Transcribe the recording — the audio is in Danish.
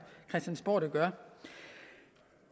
christiansborg der gør